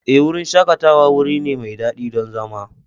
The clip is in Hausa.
Ee, wurin shakatawa wuri ne mai daɗi don zama.